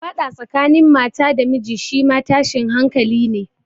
Faɗa tsakanin mata da miji shi ma tashin hankali ne.